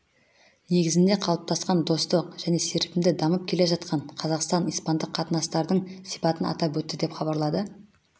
негізінде қалыптасқан достық және серпінді дамып келе жатқан қазақстан-испандық қатынастардың сипатын атап өтті деп хабарлады